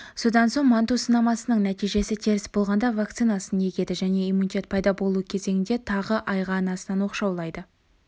содан соң манту сынамасының нәтижесі теріс болғанда вакцинасын егеді және иммунитет пайда болуы кезеңіне тағы айға анасынан оқшаулайды